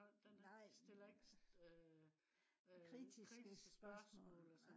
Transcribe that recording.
den stiller ikke øh kritiske spørgsmål